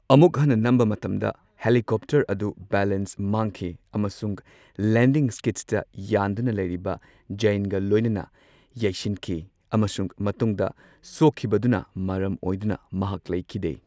ꯑꯃꯨꯛ, ꯍꯟꯅ ꯅꯝꯕ ꯃꯇꯝꯗ ꯍꯦꯂꯤꯀꯣꯞꯇꯔ ꯑꯗꯨ ꯕꯦꯂꯦꯟꯁ ꯃꯥꯡꯈꯤ ꯑꯃꯁꯨꯡ ꯂꯦꯟꯗꯤꯡ ꯁ꯭ꯀꯤꯗ꯭ꯁꯇ ꯌꯥꯟꯗꯨꯅ ꯂꯩꯔꯤꯕ ꯖꯌꯟꯒ ꯂꯣꯢꯅꯅ ꯌꯩꯁꯤꯟꯈꯤ, ꯑꯃꯁꯨꯡ ꯃꯇꯨꯡꯗ ꯁꯣꯛꯈꯤꯕꯗꯨꯅ ꯃꯔꯝ ꯑꯣꯏꯗꯨꯅ ꯃꯍꯥꯛ ꯂꯩꯈꯤꯗꯦ꯫